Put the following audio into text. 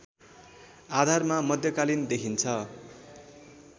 आधारमा मध्यकालीन देखिन्छ